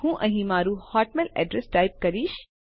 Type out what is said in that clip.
હું અહીં મારું હોટમેઇલ એડ્રેસ ટાઈપ કરીશ